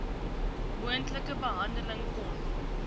moontlike behandeling kon